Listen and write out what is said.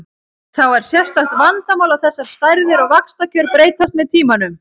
Þá er sérstakt vandamál að þessar stærðir og vaxtakjör breytast með tímanum.